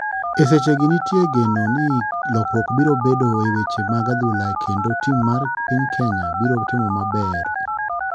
E seche gi nitie geno ni lokruok biro bedo e weche mag adhula kendo tim mar piny kenya biro timo maber